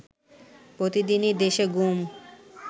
প্রতিদনই দেশে গুম